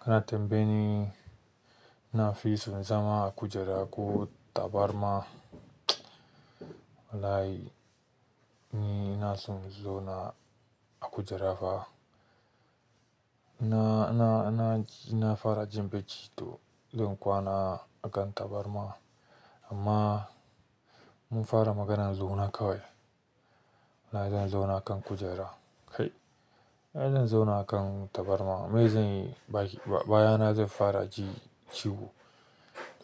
Ka tambaye ni nafi son zama a kujera ko tabarma? Wallahi ni na son zauna a kujera fa. Na, na, na, na fara jin bacci to zan kwana akan tabarma amma mun fara maganan zauna kawai. Na zan zauna a kan kujera kai. Ai zan zauna a kan tabarma. Me zan yi? Bayana zan fara ji ciwo